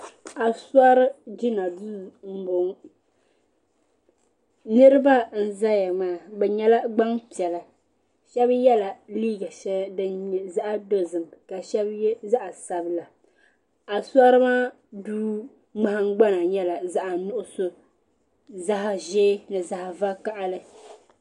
Asori jina duu m boŋɔ niriba n zaya maa bɛ nyɛla gbampiɛla sheba yela liiga sheli din nye zaɣa dozim ka sheba ye zaɣa sabila asori maa duu maa ŋmahingbana nyɛla zaɣa nuɣuso zaɣa ʒee ni zaɣa vakahali.